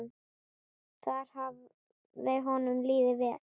Þar hafði honum liðið vel.